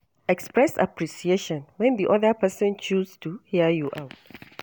Express appreciation when di oda person choose to hear you out